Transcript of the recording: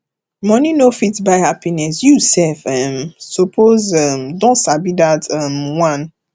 money no fit buy happiness you sef um suppose um don sabi dat um one